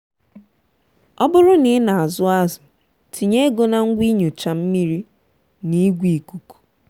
ọ bụrụ na ị na-azụ azụ tinye ego na ngwa inyocha mmiri na igwe ikuku. um